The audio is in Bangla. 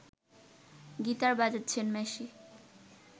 গিটার বাজাচ্ছেন মেসি